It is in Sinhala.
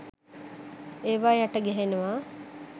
ඒවා යට ගැහෙනවා